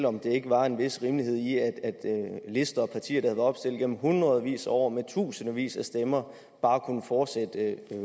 om der ikke var en vis rimelighed i at lister og partier været opstillet gennem hundredvis af år tusindvis af stemmer bare kunne fortsætte